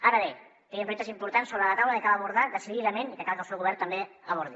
ara bé tenim reptes importants sobre la taula que cal abordar decididament i que cal que el seu govern també abordi